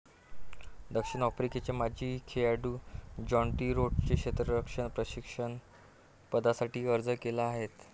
दक्षिण आफ्रिकेचे माजी खेळाडू ज्याँटी रोड्सने क्षेत्ररक्षण प्रशिक्षक पदासाठी अर्ज केला आहे.